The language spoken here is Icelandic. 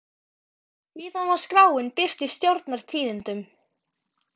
Síðan var skráin birt í Stjórnar- tíðindum.